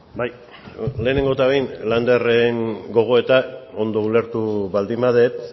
bai lehenengo eta behin landerren gogoeta ondo ulertu baldin badut